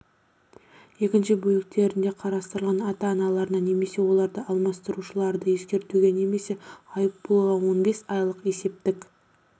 екінші бөліктерінде қарастырылған ата аналарына немесе оларды алмастырушыларды ескертуге немесе айыппұлға он бес айлық есептік